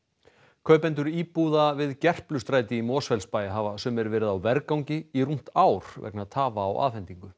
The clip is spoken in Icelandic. kaupendur íbúða við í Mosfellsbæ hafa sumir verið á vergangi í rúmt ár vegna tafa á afhendingu